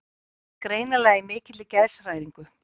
Hann var greinilega í mikilli geðshræringu.